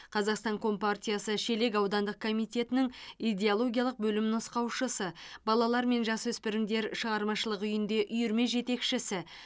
қазақстан компартиясы шелек аудандық комитетінің идеологиялық бөлім нұсқаушысы балалар мен жасөспірімдер шығармашылық үйінде үйірме жетекшісі